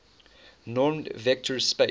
normed vector space